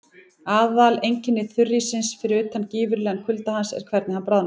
Aðaleinkenni þurríssins, fyrir utan gífurlegan kulda hans, er hvernig hann bráðnar.